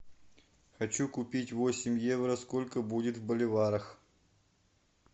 хочу купить восемь евро сколько будет в боливарах